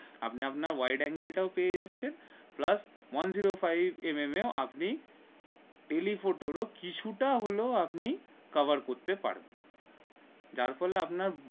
আপনি আপনার white angle টা পেয়ে যাচ্ছেন plus one zero five mm এ আপনি telephoto র কিছুটা হলো আপনি cover করতে পারবেন যার ফলে আপনার